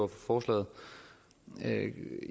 forslaget